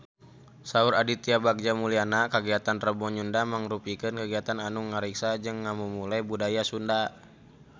Saur Aditya Bagja Mulyana kagiatan Rebo Nyunda mangrupikeun kagiatan anu ngariksa jeung ngamumule budaya Sunda